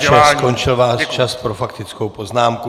Pane poslanče, skončil váš čas pro faktickou poznámku.